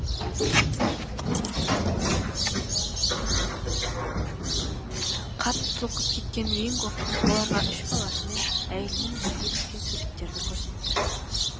қатты толқып кеткен винго оларға үш баласымен әйелімен бірге түскен суреттерді көрсетті